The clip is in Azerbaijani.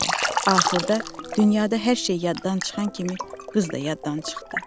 Axırda, dünyada hər şey yaddan çıxan kimi qız da yaddan çıxdı.